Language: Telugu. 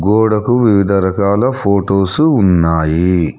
గోడకు వివిధ రకాల ఫొటోసు ఉన్నాయి.